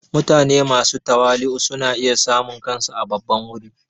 Mutane masu tawali'u suna iya samun kansu a babban wuri.